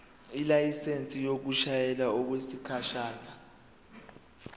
ilayisensi yokushayela okwesikhashana